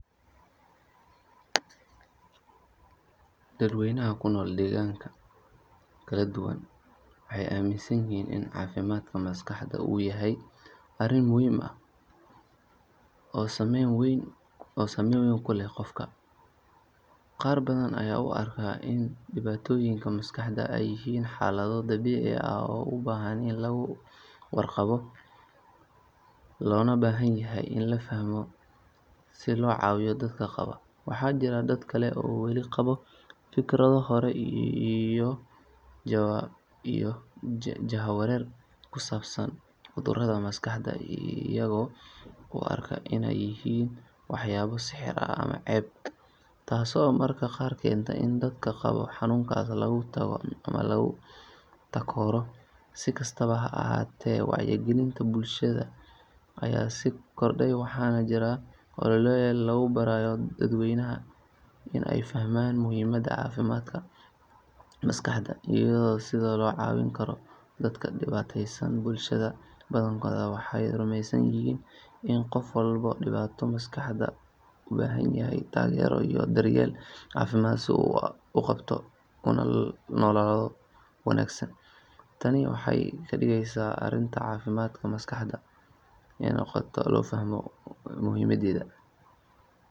Dadweynaha ku nool deegaanada kala duwan waxay aaminsan yihiin in caafimaadka maskaxda uu yahay arrin muhiim ah oo saameyn weyn ku leh nolosha qofka. Qaar badan ayaa u arka in dhibaatooyinka maskaxda ay yihiin xaalado dabiici ah oo u baahan in laga warqabo loona baahan yahay in la fahmo si loo caawiyo dadka qaba. Waxaa jira dad kale oo weli qaba fikrado hore iyo jahawareer ku saabsan cudurada maskaxda, iyaga oo u arka inay yihiin waxyaabo sixir ah ama ceeb, taasoo mararka qaar keenta in dadka qaba xanuunkaas laga tago ama lagu takooro. Si kastaba ha ahaatee, wacyigelinta bulshada ayaa sii kordhaya, waxaana jira ololeyaal lagu barayo dadweynaha in ay fahmaan muhiimadda caafimaadka maskaxda iyo sida loo caawin karo dadka dhibaataysan. Bulshada badankooda waxay rumaysan yihiin in qofka qaba dhibaato maskaxeed uu u baahan yahay taageero iyo daryeel caafimaad si uu u soo kabto una noolaado nolol wanaagsan. Tani waxay ka dhigaysaa in arrinta caafimaadka maskaxda ay noqoto mid si tartiib tartiib ah loogu aqoonsanayo loona fahmayo muhiimadeeda.